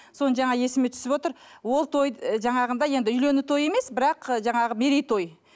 соны жаңа есіме түсіп отыр ол той жаңағындай енді үйлену той емес бірақ і жаңағы мерей той